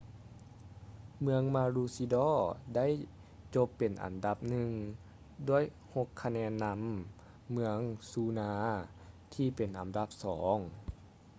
ເມືອງມາຣູຊີດໍ maroochydore ໄດ້ຈົບເປັນອັນດັບໜຶ່ງ ດ້ວຍຫົກຄະແນນນຳ ເມືອງນູຊາ noosa ທີ່ເປັນອັນດັບສອງ